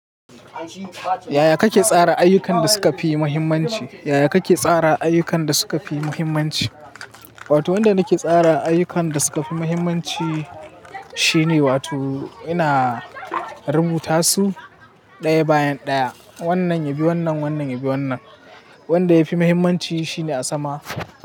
Yaya kake tsara ayukan da suka fi muhimmanci? Yaya kake tsara ayukan da suka fi muhimmanci? Wato wanda nake tsara ayukan da suka fi muhimmanci shine wato ina rubuta su ɗaya bayan ɗaya. Wannan ya bi wannan, wannan ya bi wannan. Wanda yafi muhimmanci shine a sama.